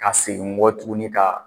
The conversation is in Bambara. Ka segin n kɔ tuguni ka